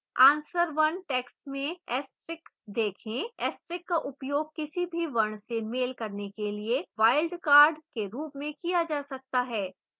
answer 1 text में asterix देखें